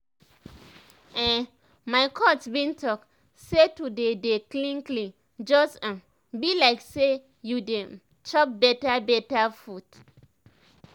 ehn my coach bin talk say to dey dey clean clean just um bi like say you dey um chop beta beta food